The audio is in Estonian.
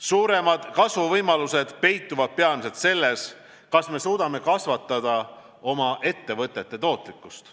Suuremad kasvuvõimalused peituvad peamiselt selles, kas me suudame kasvatada oma ettevõtete tootlikkust.